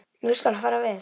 Nú skal fara vel.